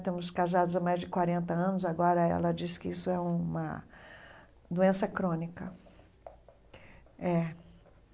Estamos casados há mais de quarenta anos, agora ela disse que isso é uma doença crônica é.